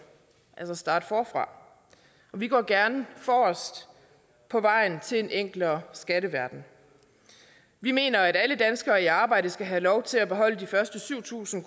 altså starte forfra og vi går gerne forrest på vejen til en enklere skatteverden vi mener at alle danskere i arbejde skal have lov til at beholde de første syv tusind